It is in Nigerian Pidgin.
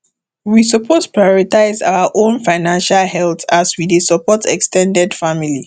we suppose prioritize our own financial health as we dey support ex ten ded family